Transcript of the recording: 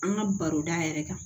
An ka baroda yɛrɛ kan